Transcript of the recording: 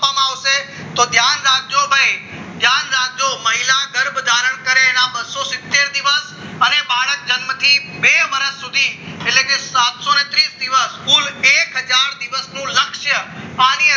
આવશે તો ધ્યાન રાખજો ભાઈ ધ્યાન રાખજો મહિલા ગર્ભ ધારણ કરે એના બસો સિત્તેર દિવસ બાળકના જન્મથી બે વર્ષ સુધી એટલે કે સાતસો ત્રીસ દિવસ કુલ એક હજાર દિવસ લાગશે સ્થાનિક